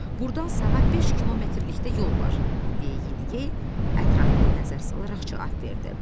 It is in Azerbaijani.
Burdan sağa 5 kilometrlikdə yol var, deyə Yediyey ətrafına nəzər salaraq cavab verdi.